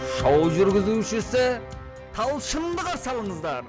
шоу жүргізушісі талшынды қарсы алыңыздар